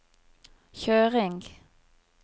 kjøring